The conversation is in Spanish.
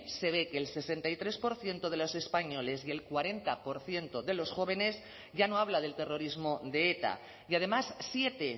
se ve que el sesenta y tres por ciento de los españoles y el cuarenta por ciento de los jóvenes ya no habla del terrorismo de eta y además siete